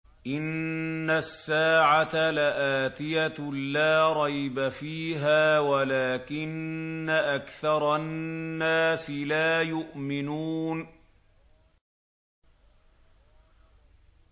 إِنَّ السَّاعَةَ لَآتِيَةٌ لَّا رَيْبَ فِيهَا وَلَٰكِنَّ أَكْثَرَ النَّاسِ لَا يُؤْمِنُونَ